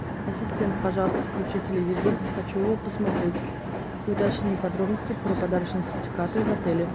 ассистент пожалуйста включи телевизор хочу его посмотреть и уточни подробности про подарочные сертификаты в отеле